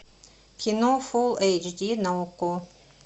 кино фул эйч ди на окко